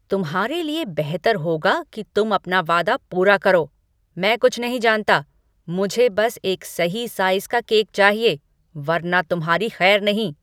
तुम्हारे लिए बेहतर होगा कि तुम अपना वादा पूरा करो। मैं कुछ नहीं जानता, मुझे बस एक सही साइज़ का केक चाहिए, वरना तुम्हारी खैर नहीं।